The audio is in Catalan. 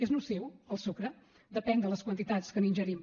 és nociu el sucre depèn de les quantitats que n’ingerim